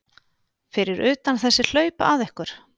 Fyrir utan þessi hlaup að ykkur?